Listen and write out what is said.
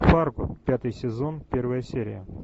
фарго пятый сезон первая серия